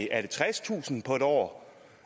er det tredstusind på en år